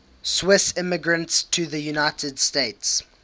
swiss immigrants to the united states